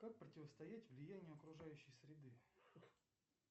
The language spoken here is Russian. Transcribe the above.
как противостоять влиянию окружающей среды